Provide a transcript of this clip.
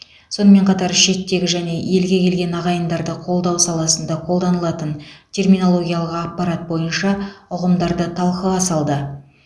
сонымен қатар шеттегі және елге келген ағайындарды қолдау саласында қолданылатын терминологиялық аппарат бойынша ұғымдарды талқыға салды